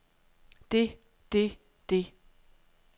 det det det